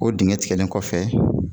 O digɛn tigɛlen kɔfɛ